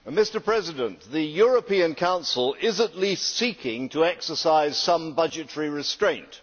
Mr President, the European Council is at least seeking to exercise some budgetary restraint.